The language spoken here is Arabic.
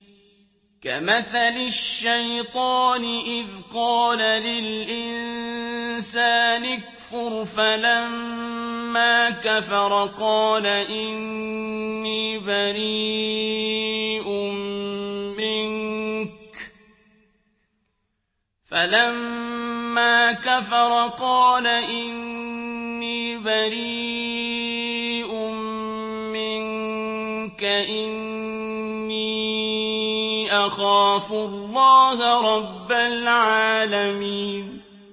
كَمَثَلِ الشَّيْطَانِ إِذْ قَالَ لِلْإِنسَانِ اكْفُرْ فَلَمَّا كَفَرَ قَالَ إِنِّي بَرِيءٌ مِّنكَ إِنِّي أَخَافُ اللَّهَ رَبَّ الْعَالَمِينَ